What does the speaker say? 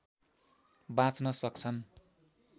बाँच्न सक्छन्